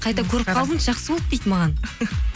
қайта көріп қалдың жақсы болды дейді маған